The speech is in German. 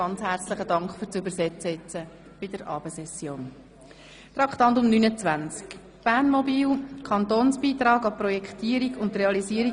Den beiden Dolmetscherinnen danke ich ganz herzlich für das Dolmetschen der heutigen Abendsession!